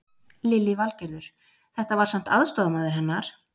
Lillý Valgerður: Þetta var samt aðstoðarmaður hennar?